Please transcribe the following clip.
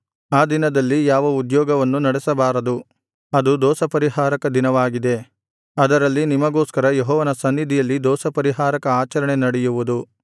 ಆ ದಿನದಲ್ಲಿ ಯಾವ ಉದ್ಯೋಗವನ್ನೂ ನಡೆಸಬಾರದು ಅದು ದೋಷಪರಿಹಾರಕ ದಿನವಾಗಿದೆ ಅದರಲ್ಲಿ ನಿಮಗೋಸ್ಕರ ಯೆಹೋವನ ಸನ್ನಿಧಿಯಲ್ಲಿ ದೋಷಪರಿಹಾರಕ ಆಚರಣೆ ನಡೆಯುವುದು